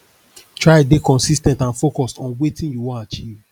try de consis ten t and focused on wetin you won achieve